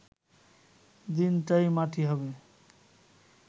দিনটাই মাটি হবে